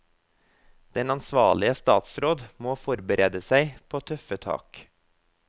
Den ansvarlige statsråd må forberede seg på tøffe tak.